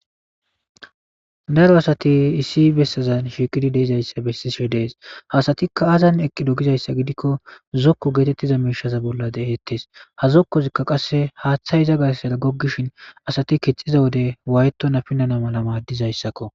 Daro asati issi bessazan shikidi deizayssa bessishe dees hasatikka azan eqqidogizayssa gidikko zokko geetettiza meishaza bolla de7ettes ha zokkozikka qasse haaththay iza gassada goggishin asati kixiza wode wayto napinana mala maaddizayssakko.